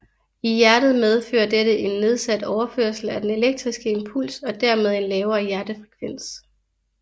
I hjertet medfører dette en nedsat overførsel af den elektriske impuls og dermed en lavere hjertefrekvens